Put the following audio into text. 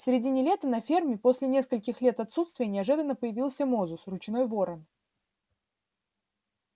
в середине лета на ферме после нескольких лет отсутствия неожиданно появился мозус ручной ворон